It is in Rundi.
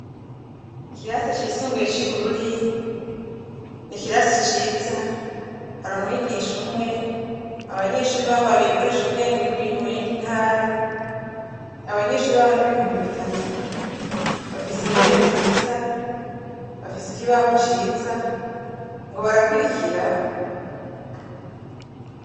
ikirasi cisumbuye c'ibururi ni kirasi ciza hari umwigisha umwe abanyeshuri baho bagiye gukoresha ubwenge mu yindi intara abanyeshuri baho n'ibihumbi bitatu bafise intebe nziza bafise ikibaho ciza ngo barakurikira